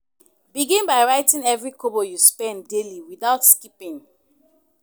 Begin by writing every kobo you spend daily without skipping.